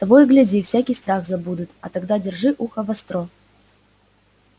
того и гляди всякий страх забудут а тогда держи ухо востро